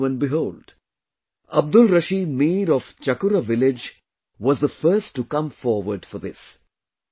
And lo and behold... Abdul Rashid Mir of Chakura village was the first to come forward for this